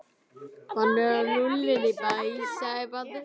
Hann er lúlla inn í bæ, sagði barnið.